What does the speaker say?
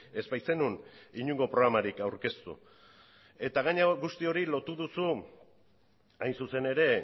ez baitzenuen inongo programarik aurkeztu eta gainera guzti hori lotu duzu hain zuzen ere